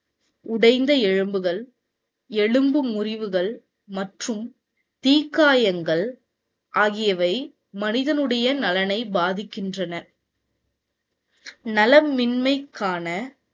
உடைந்த எலும்புகள், எலும்பு முறிவுகள் மற்றும் தீக்காயங்கள் ஆகியவை மனிதனுடைய நலனை பாதிக்கின்றன. நலமின்மைக்கான